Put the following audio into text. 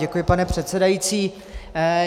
Děkuji, pane předsedající.